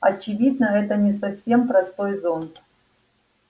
очевидно это не совсем простой зонт